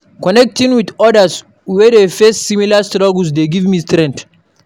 Connecting with odas wey dey face similar struggles dey give me strength.